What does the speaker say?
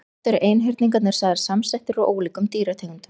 Oft eru einhyrningarnir sagðir samsettir úr ólíkum dýrategundum.